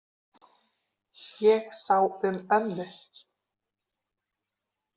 Ég sá um ömmu.